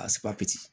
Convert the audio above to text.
A